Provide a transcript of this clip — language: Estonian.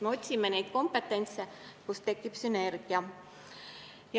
Me otsime kompetentsust, nii et tekiks sünergia.